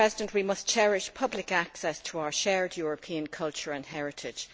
We must cherish public access to our shared European culture and heritage.